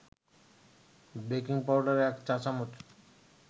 baking powder ১ চা-চামচ